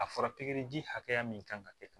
A fɔra pikiriji hakɛya min kan ka kɛ tan